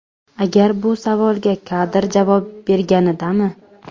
Agar bu savolga Kadir javob berganidami?!